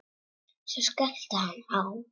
Svo skellti hann á.